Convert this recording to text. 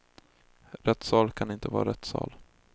Rättssal kan inte vara rätt sal.